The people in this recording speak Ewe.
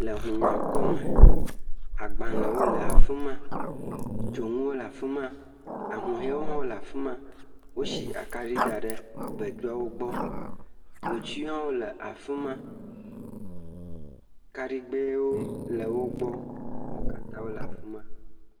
Le hunɔa kpɔ me, agbalẽwo le afi ma, dzonuwo le afi ma, ahuhɔewo le hã le afi ma, wosi akaɖi da ɖe voduawo gbɔ, ŋutiwo hã le afi ma, kaɖigbɛwo le wo gbɔ, wo katã wole afi ma.